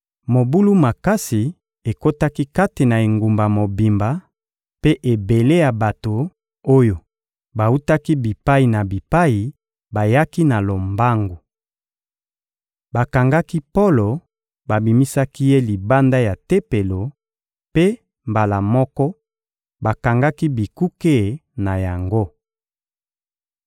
Mobulu makasi ekotaki kati na engumba mobimba, mpe ebele ya bato oyo bawutaki bipai na bipai bayaki na lombangu. Bakangaki Polo, babimisaki ye libanda ya Tempelo mpe, mbala moko, bakangaki bikuke na yango.